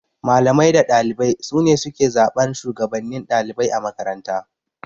Malamai da ɗalibai sune suke zaɓan Shugabannin ɗalibai a makaranta